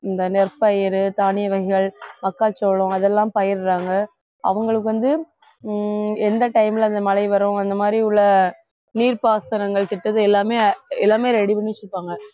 இந்த நெற்பயிரு தானிய வகைகள் மக்காச்சோளம் அதெல்லாம் பயிரிடுறாங்க அவங்களுக்கு வந்து ஹம் எந்த time ல இந்த மழை வரும் அந்த மாதிரி உள்ள நீர்ப்பாசனங்கள் திட்டத்தை எல்லாமே எல்லாமே ready பண்ணிட்டு இருப்பாங்க